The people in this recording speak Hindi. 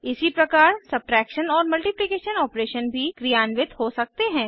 इसी प्रकार सब्ट्रैक्शन और मल्टिप्लिकेशन ऑपरेशन भी क्रियान्वित हो सकते हैं